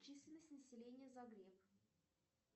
численность населения загреб